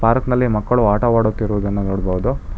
Park ನಲ್ಲಿ ಮಕ್ಕಳು ಆಟವಾಡುತ್ತಿರುವುದು ನೋಡ್ಬೋದು.